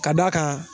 Ka d'a kan